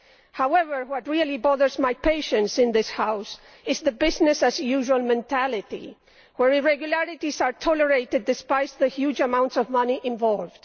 However, what really bothers my patience in this House is the business as usual' mentality, where irregularities are tolerated despite the huge amounts of money involved.